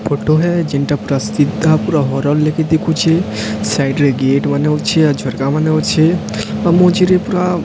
photo ରେ ହେ ଯେନଟା ପୂରା ସିଧା ପୂରା ହରଲେଖେ ଦେଖୁଛେ ସାଇଟରେ ଗେଟ ମାନେ ଅଛି ଆଉ ଝରକା ମାନେ ଅଛି ଆଉ ମଝିରେ ପୂରା --